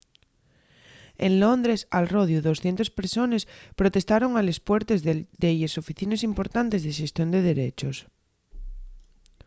en londres al rodiu 200 persones protestaron a les puertes de delles oficines importantes de xestión de derechos